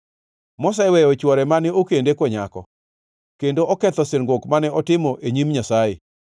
moseweyo chwore mane okende konyako, kendo oketho singruok mane otimo e nyim Nyasaye.